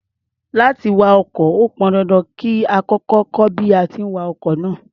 Láti wa ọkọ̀, ó pọn dandan kí a kọ́kọ́ kọ́ bí a ti ń wa ọkọ̀ náà.